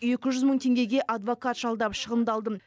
екі жүз мың теңгеге адвокат жалдап шығындалдым